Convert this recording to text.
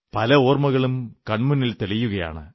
പല ഓർമ്മകളും കൺമുന്നിൽ തെളിയുകയാണ്